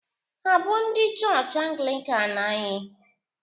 Hà bụ ndị chọọchị Anglịkan anyị?